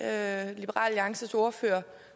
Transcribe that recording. alliances ordfører